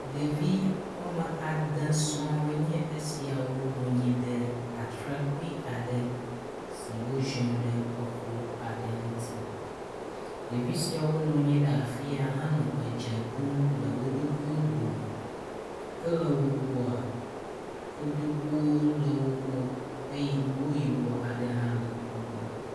Ɖevi woame ade sɔɔ enye esiawo nɔnyi ɖe atrakpui aɖe si woziɔ ɖe exɔ aɖe ŋuti. Ɖevi siawo nɔnyi ɖe afi ya henɔ edze ɖom le wo ɖokuiwo dome. Ke le wo gbɔa, kotoku le wo gbɔ eye nugo yibɔ aɖe hã le wo gbɔ.